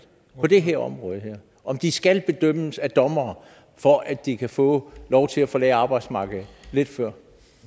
på det her område om de skal bedømmes af dommere for at de kan få lov til at forlade arbejdsmarkedet lidt før